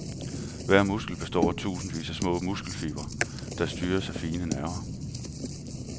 Hver muskel består af tusindvis af små muskelfibre, der styres af fine nerver.